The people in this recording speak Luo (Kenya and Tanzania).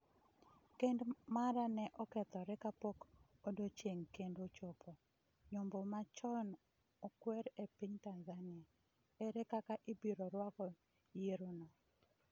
Kend mara ne okethore kapok odiechieng’ kend ochopo’ Nyombo ma chon okwer e piny Tanzania, ere kaka ibiro rwako yierono?